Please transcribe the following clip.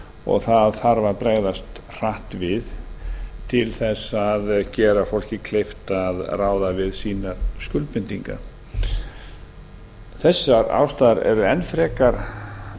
og það þarf að bregðast hratt við til að gera fólki kleift að ráða við sínar skuldbindingar þessar ástæður kalla enn frekar